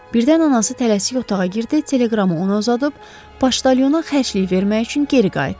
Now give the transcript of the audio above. Birdən anası tələsik otağa girdi, teleqramı ona uzadıb, poçtalyona xərclik vermək üçün geri qayıtdı.